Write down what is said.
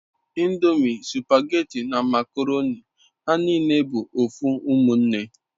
Ndomi, supageti na makoroni ha nine bu ofu umunne